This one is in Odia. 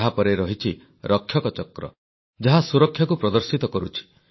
ଏହାପରେ ରହିଛି ରକ୍ଷକ ଚକ୍ର ଯାହା ସୁରକ୍ଷାକୁ ପ୍ରଦର୍ଶିତ କରୁଛି